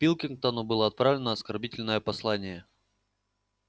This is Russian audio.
пилкингтону было отправлено оскорбительное послание